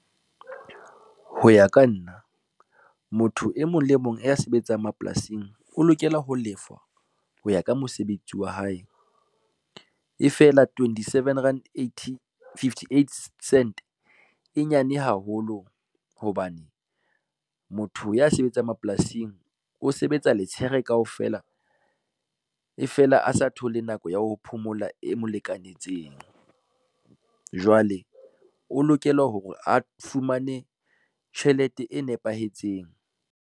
Ho ya ka nna, motho e mong le mong ya sebetsang mapolasing o lokela ho lefwa ho ya ka mosebetsi wa hae. E fela twenty seven rand eighty, fifty eight cent e nyane haholo hobane, motho ya sebetsang mapolasing o sebetsa letshehare kaofela. E fela a sa thole nako ya ho phomola e mo lekanetseng, jwale o lokela hore a fumane tjhelete e nepahetseng.